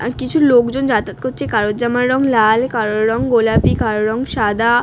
আর কিছু লোকজন যাতায়াত করছে কারোর জামার রং লাল কারোর রং গোলাপি কারোর রং সাদা।